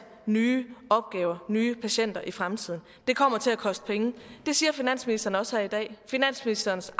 nye opgaver nye patienter i fremtiden det kommer til at koste penge det siger finansministeren også her i dag finansministerens